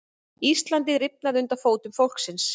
Íslandið rifnar undir fótum fólksins